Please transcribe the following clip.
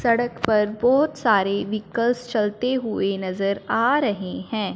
सड़क पर बहोत सारे व्हीकल्स चलते हुए नजर आ रहे हैं।